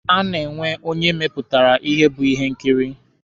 A na-enwe onye mepụtara ya bụ ihe nkiri.